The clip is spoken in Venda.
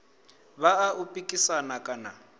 vha a u pikisana kana